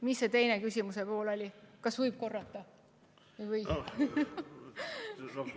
Mis see teine pool oligi, kas võiksite korrata?